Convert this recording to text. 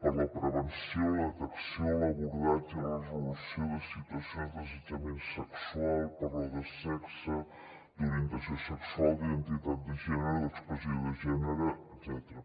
per a la prevenció la detecció l’abordatge i la resolució de situacions d’assetjament sexual per raó de sexe d’orientació sexual d’identitat de gènere d’expressió de gènere etcètera